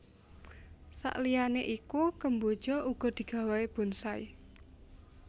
Saliyané iku kemboja uga digawé bonsai